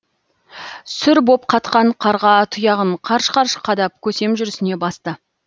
сүр боп қатқан қарға тұяғын қарш қарш қадап көсем жүрісіне басты